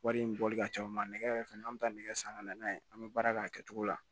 Wari in bɔli ka ca o ma nɛgɛ yɛrɛ fɛnɛ an bɛ taa nɛgɛ san ka na n'a ye an bɛ baara kɛ a kɛcogo la